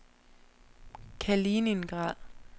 Kaliningrad